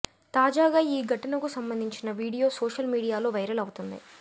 తాజాగా ఈ ఘటనకు సంబంధించిన వీడియో సోషల్ మీడియాలో వైరల్ అవుతుంది